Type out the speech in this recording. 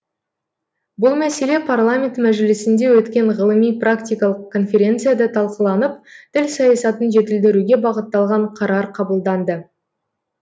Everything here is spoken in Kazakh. бұл мәселе парламент мәжілісінде өткен ғылыми практикалық конференцияда талқыланып тіл саясатын жетілдіруге бағытталған қарар қабылданды